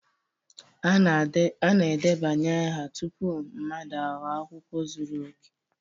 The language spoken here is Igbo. A na-edebanye aha tupu mmadụ aghọọ akwụkwọ zuru oke